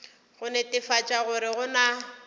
go netefatša gore go na